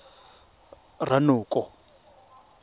ranoko